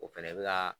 O fɛnɛ bɛ ka